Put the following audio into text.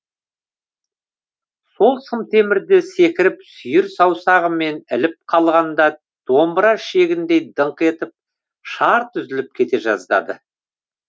сол сымтемірді секіріп сүйір саусағымен іліп қалғанда домбыра ішегіндей дыңқ етіп шарт үзіліп кете жаздады